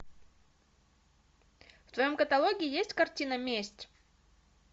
в твоем каталоге есть картина месть